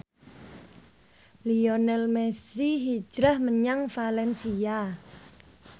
Lionel Messi hijrah menyang valencia